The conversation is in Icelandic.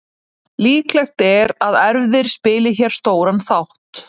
Líklegt er að erfðir spili hér stóran þátt.